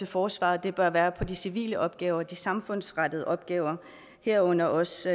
forsvaret bør være på de civile opgaver de samfundsrettede opgaver herunder også